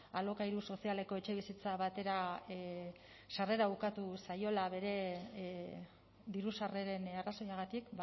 alokairu sozialeko etxebizitza batera sarrera ukatu zaiola bere diru sarreren arrazoiagatik